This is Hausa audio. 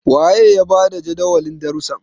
waye ya ba da Jadawalin darrusan?